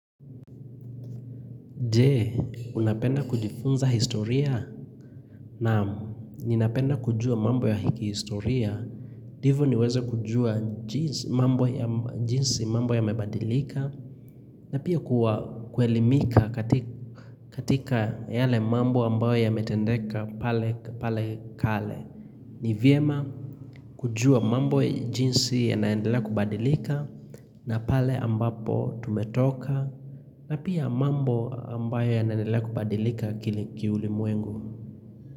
Je, unapenda kujifunza historia naam ninapenda kujua mambo ya hiki historia, ndivo niweza kujua jinsi, mambo jinsi mambo ya mebadilika na pia kuelimika katika yale mambo ambayo ya metendeka pale kale. Ni vyema kujua mambo jinsi ya naendelea kubadilika na pale ambapo tumetoka na pia mambo ambayo ya naendelea kubadilika kiuli mwengu.